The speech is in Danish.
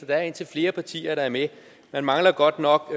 der er indtil flere partier der er med man mangler godt nok